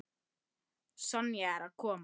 Sonja er að koma.